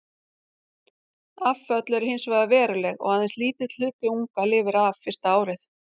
Afföll eru hins vegar veruleg og aðeins lítill hluti unga lifir af fyrsta árið.